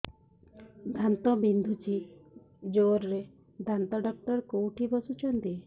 ଦାନ୍ତ ବିନ୍ଧୁଛି ଜୋରରେ ଦାନ୍ତ ଡକ୍ଟର କୋଉଠି ବସୁଛନ୍ତି